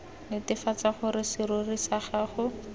netefatse gore serori sa gago